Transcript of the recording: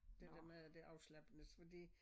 Det dem med det afslappende fordi